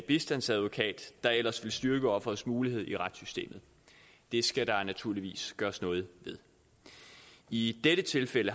bistandsadvokat der ellers ville styrke offerets muligheder i retssystemet det skal der naturligvis gøres noget ved i dette tilfælde